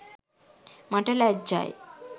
මට ලැඡ්ජයි.